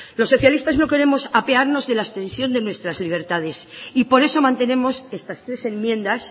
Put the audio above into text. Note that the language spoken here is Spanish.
los socialistas no queremos apearnos de la extensión de nuestras libertades y por eso mantenemos estas tres enmiendas